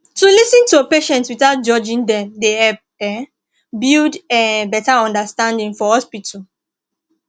to lis ten to patients without judging dem dey help um build um better understanding for hospital